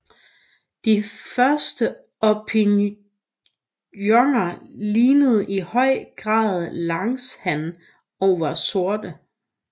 De første orpingtoner lignede i høj grad langshan og var sorte